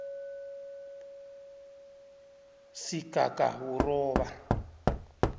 sigagawuroba